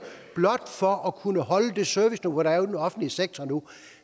blot for at kunne holde det serviceniveau der er i den offentlige sektor nu